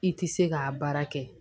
I tɛ se k'a baara kɛ